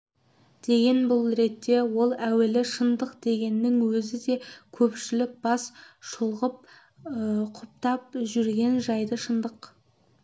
деген бұл ретте ол әуелі шындық дегеннің өзі не көпшілік бас шұлғып құптап жүрген жайды шындық